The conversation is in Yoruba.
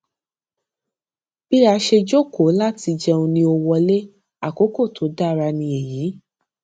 bí a ṣe jókòó láti jẹun ni o wọlé àkókò tó dára ni èyí